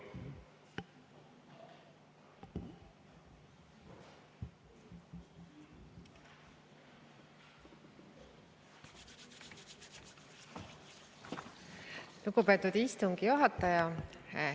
Lugupeetud istungi juhataja!